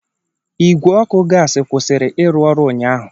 Igwe ọkụ gas kwụsịrị ịrụ ọrụ ụnyaahụ.